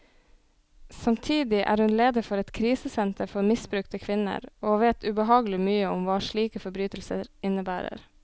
Samtidig er hun leder for et krisesenter for misbrukte kvinner, og vet ubehagelig mye om hva slike forbrytelser innebærer.